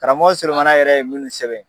Karamɔgɔ Solomana yɛrɛ ye minnu sɛbɛn.